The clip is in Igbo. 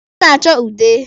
Ọ na-achọ ude.